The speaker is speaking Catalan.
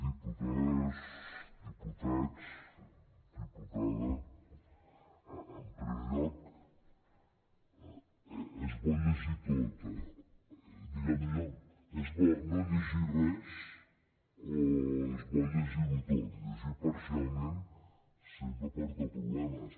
diputades diputats diputada en primer lloc és bo llegirho tot eh és bo no llegir res o és bo llegirho tot llegir parcialment sempre porta problemes